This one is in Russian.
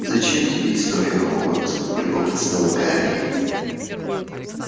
зачем тебе история хогвартса полюбопытствовал гарри